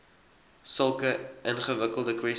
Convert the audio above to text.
sulke ingewikkelde kwessies